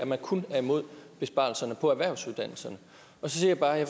man kun er imod besparelserne på erhvervsuddannelserne og så siger jeg bare at